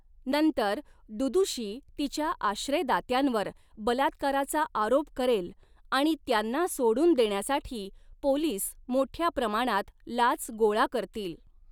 नंतर दुदुशी तिच्या आश्रयदात्यांवर बलात्काराचा आरोप करेल आणि त्यांना सोडून देण्यासाठी पोलिस मोठ्या प्रमाणात लाच गोळा करतील.